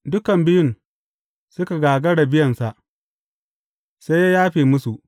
Dukan biyun suka gagara biyansa, sai ya yafe musu.